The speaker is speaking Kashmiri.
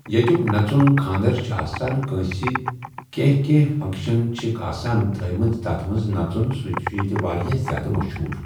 ییٚتیُٚک نَژُن خاندَر چھِ آسان کٲنٛسہِ کینٛہہ کینٛہہ فنٛگشَن چھِکھ آسان تھٔومٕژ تَتھ منٛز نَژُن سُہ چھِ ییٚتہِ واریاہ زیادٕ مشہوٗر.